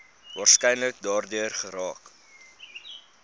waarskynlik daardeur geraak